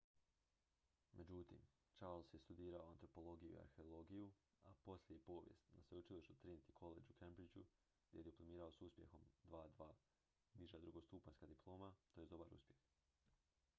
"međutim charles je studirao antropologiju i arheologiju a poslije i povijest na sveučilištu trinity college u cambridgeu gdje je diplomirao s uspjehom "2:2" niža drugostupanjska diploma tj. dobar uspjeh.